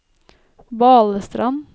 Balestrand